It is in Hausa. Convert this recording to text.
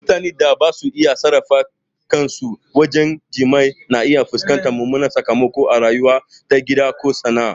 Mutanen da basa iya sarrafa kansu wajen jima'i na iya fuskantar mummunan sakamako a rayuwarsu ta gida ko sana'a.